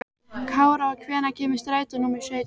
Kára, hvenær kemur strætó númer sautján?